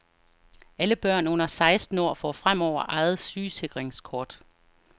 Alle børn under seksten år får fremover eget sygesikringskort.